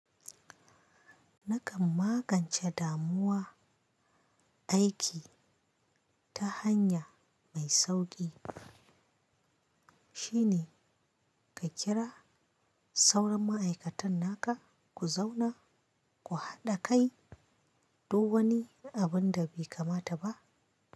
Na kan magance damuwa aiki ta hanya mai sauƙi, shine ka kira sauran ma'aikatan naka ku zauna ku haɗa kai duk wani abun da bai kamata ba.